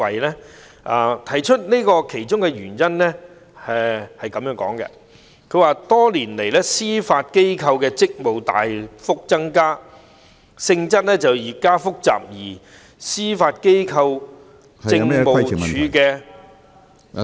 我引述這建議的其中一個原因，是多年來，司法機構的職務大幅增加，性質越加複雜，而司法機構政務處的......